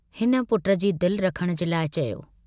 हिन पुट जी दिल रखण जे लाइ चयो।